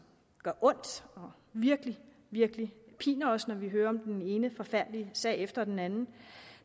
gør ondt og virkelig virkelig piner os altså når vi hører om den ene forfærdelige sag efter den anden